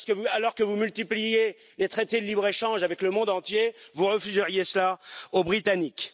Alors que vous multipliez les traités de libre échange avec le monde entier, vous refuseriez cela aux Britanniques?